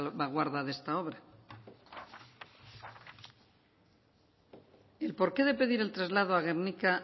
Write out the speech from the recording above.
salvaguarda de esta obra y el porqué de pedir el traslado a gernika